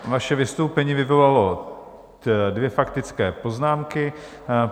Vaše vystoupení vyvolalo dvě faktické poznámky.